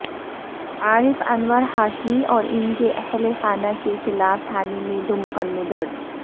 عارف انور ہاشمی اور ان کے اہل خانہ کے خلاف تھانے میں دو مقدمے درج